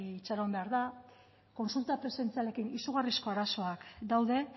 itxaron behar da kontsulta presentzialekin izugarrizko arazoak daude